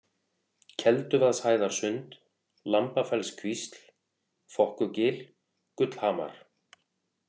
Kelduvaðshæðarsund, Lambafellskvísl, Fokkugil, Gullhamar